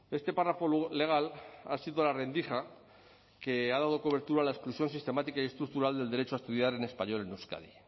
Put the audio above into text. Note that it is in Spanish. este párrafo legal ha sido la rendija que ha dado cobertura a la exclusión sistemática y estructural del derecho a estudiar en español en euskadi